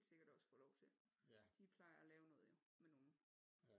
Helt sikkert også få lov til de plejer at lave noget jo med nogen